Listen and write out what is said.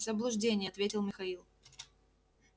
заблуждение ответил михаил